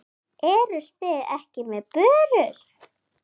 Eruð þið ekki með börur?